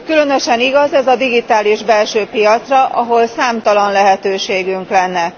Különösen igaz ez a digitális belső piacra, ahol számtalan lehetőségünk lenne.